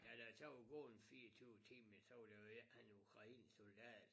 Da der så var gået en 24 timer så var der jo en han var ukrainsk soldat